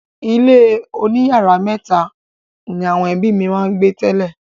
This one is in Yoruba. Ilé oníyàrá mẹ́tà ni àwọn ẹbí mi gbé tẹ́lẹ̀.